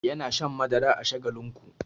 Yana shan madara a shagalinku.